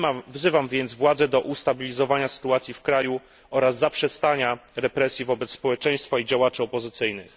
Wzywam więc władze do ustabilizowania sytuacji w kraju oraz zaprzestania represji wobec społeczeństwa i działaczy opozycyjnych.